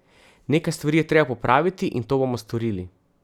Nekaj stvari je treba popraviti, in to bomo storili.